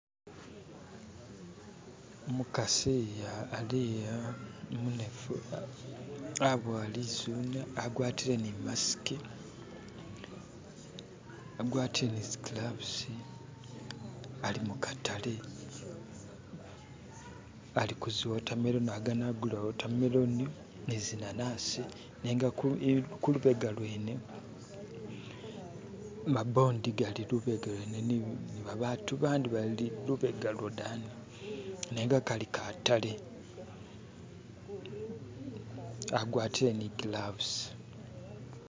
umukasi aliya umunefu abowa lizune agwatire ni masiki agwatile zigilavuzi alimukatale aliku ziwotameloni agana gula ziwotameloni nizi nanasi nenga kulubega lwene mabondi gali lubega lwene batu bandi bali lubega lwadani nenga kali katale agwatile ni gilavuzi